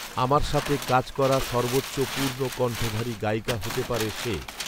আমার সাথে কাজ করা সর্বোচ্চ পূর্ণ কণ্ঠধারী গায়িকা হতে পারে সে